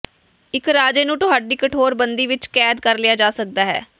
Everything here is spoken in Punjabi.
ਇੱਕ ਰਾਜੇ ਨੂੰ ਤੁਹਾਡੀ ਕਠੋਰ ਬੰਦੀ ਵਿਚ ਕੈਦ ਕਰ ਲਿਆ ਜਾ ਸਕਦਾ ਹੈ